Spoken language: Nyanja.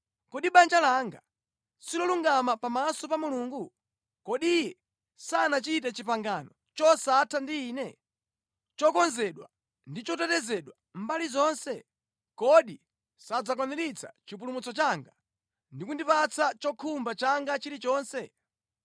“Kodi banja langa silolungama pamaso pa Mulungu? Kodi Iye sanachite pangano losatha ndi ine, lokonzedwa ndi lotetezedwa mbali zonse? Kodi sadzakwaniritsa chipulumutso changa, ndi kundipatsa chokhumba changa chilichonse?